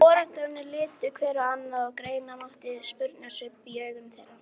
Foreldrarnir litu hver á annan og greina mátti spurnarsvip í augum þeirra.